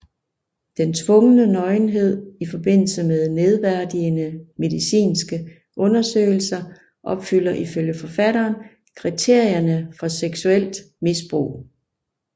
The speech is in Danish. Den tvungne nøgenhed i forbindelse med nedværdigende medicinske undersøgelser opfylder ifølge forfatteren kriterierne for seksuelt misbrug